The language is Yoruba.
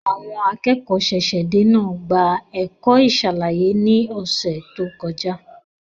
Àwọn akẹ́kọ̀ọ́ ṣẹ̀ṣẹ̀-dé náà gba ẹ̀kọ́ ìṣàlàyé ní ọ̀sẹ̀ tó kọjá.